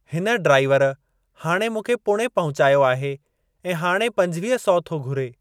हिन ड्राइवर हाणे मूंखे पुणे पहुचायो आहे ऐं हाणे पंजवीह सौ थो घुरे।